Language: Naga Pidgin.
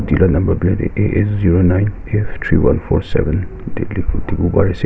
etu number plate dae a zero nine f three one four seven tikibo bari ase.